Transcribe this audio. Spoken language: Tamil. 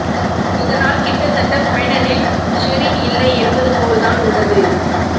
இதனால் கிட்டத்தட்ட ஃபைனலில் ஷெரின் இல்லை என்பது போல் தான் உள்ளது